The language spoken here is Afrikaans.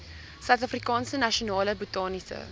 suidafrikaanse nasionale botaniese